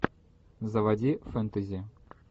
заводи фэнтези